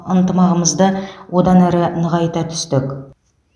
ынтымағымызды одан әрі нығайта түстік